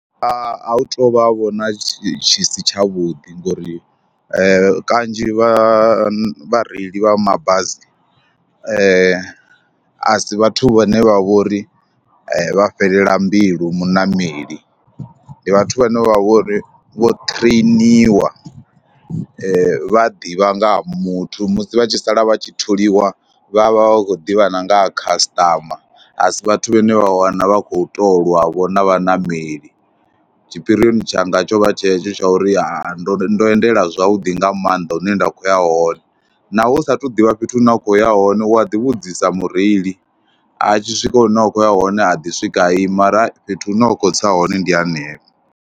A hu tou vha vhona tshi si tshavhuḓi ngori kanzhi vha vhareili vha mabasi a si vhathu vhane vha vho ri vha fhelela mbilu muṋameli, ndi vhathu vhane vha vho ri vho ṱhireiniwa, vha ḓivha nga ha muthu musi vha tshi sala vha tshi tholiwa vha vha vha khou ḓivha na nga ha khasiṱama. A si vhathu vhane vha wana vha khou tou lwa vho na vhaṋameli, tshipirioni tshanga tsho vha tshetsho tsha uri ndo ndo endela zwavhuḓi nga maanḓa hune nda khou ya hone na hu saathu ḓivha fhethu hune wa khou ya hone u a ḓivhudzisa mureili, a tshi swika hune wa khou ya hone a ḓi swika ima arali hai fhethu hune wa khou tsa hone ndi hanefha.